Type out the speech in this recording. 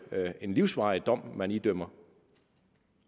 er en livsvarig dom man idømmer